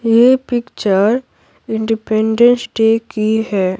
ये picture Independence Day की है।